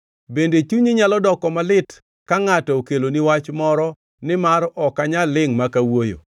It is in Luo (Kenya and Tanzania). “Bende chunyi nyalo doko malit ka ngʼato okeloni wach moro nimar ok anyal lingʼ mak awuoyo?